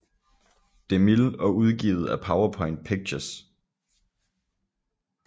DeMille og udgivet af Paramount Pictures